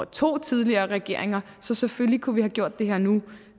to tidligere regeringer så selvfølgelig kunne vi have gjort det her nu